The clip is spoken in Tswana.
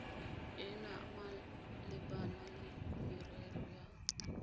ena malebana le merero ya